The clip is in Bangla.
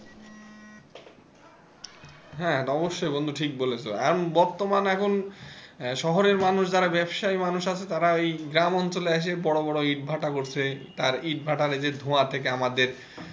হ্যাঁ অবশ্যই বন্ধু ঠিক বলেছ এবং বর্তমান এখন শহরের মানুষ যারা ব্যবসায়ী মানুষ আছে তারা এই গ্রামাঞ্চল আছে বড় বড় ইট ভাটা করছে আর ইট ভাটা থেকে এই যে ধোঁয়া থেকে আমাদের,